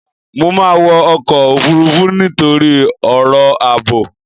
Mo máa wọ ọkọ̀ Òfurufú nítorí ọ̀rọ̀ àbò.